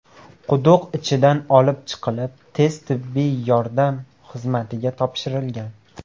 quduq ichidan olib chiqilib, tez-tibbiy yordam xizmatiga topshirilgan.